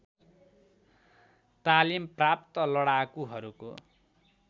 तालिम प्राप्त लडाकुहरूको